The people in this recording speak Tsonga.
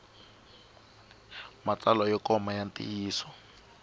matsalwa yo koma ya ntiyiso